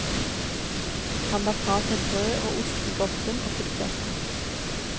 Han la fra seg brød og ost i grotten og fulgte etter.